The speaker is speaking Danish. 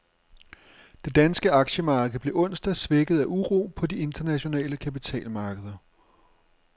Det danske aktiemarked blev onsdag svækket af uro på de internationale kapitalmarkeder.